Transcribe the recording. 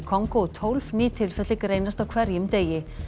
Kongó og tólf ný tilfelli greinast á hverjum degi